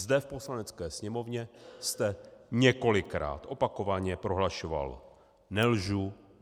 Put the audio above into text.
Zde v Poslanecké sněmovně jste několikrát opakovaně prohlašoval: Nelžu.